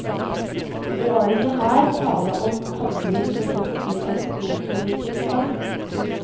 Det var ikke her tale om handling begått i alkoholpåvirket stand.